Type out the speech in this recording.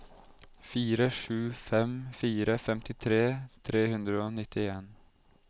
fire sju fem fire femtitre tre hundre og nittien